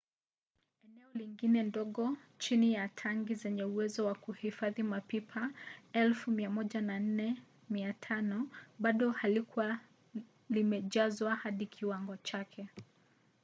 eneo lingine ndogo chini ya tangi zenye uwezo wa kuhifadhi mapipa 104,500 bado halikuwa limejazwa hadi kiwango chake